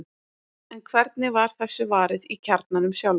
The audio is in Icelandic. en hvernig var þessu varið í kjarnanum sjálfum